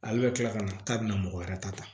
Ale bɛ tila ka na k'a bɛna mɔgɔ wɛrɛ ta